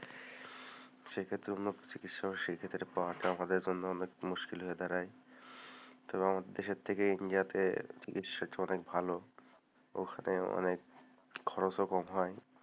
সেক্ষেত্তে উন্নত চিকিৎসা পাওয়ার জন্য মুশকিল হয়ে দাঁড়ায়, তো আমাদের দেশের থেকে ইন্ডিয়াতে চিকিৎসা অনেক ভালো, উহ অনেক খরচও কম হয়,